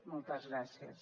moltes gràcies